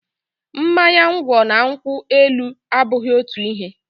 Mmanya ngwọ na nkwụ elu abụghị otu ihe.